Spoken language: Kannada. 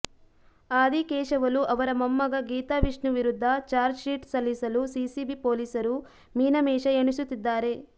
ಆದಿಕೇಶವಲು ಅವರ ಮೊಮ್ಮಗ ಗೀತಾವಿಷ್ಣು ವಿರುದ್ಧ ಚಾರ್ಜ್ಶೀಟ್ ಸಲ್ಲಿಸಲು ಸಿಸಿಬಿ ಪೊಲೀಸರು ಮೀನಮೇಷ ಎಣಿಸುತ್ತಿದ್ದಾರೆ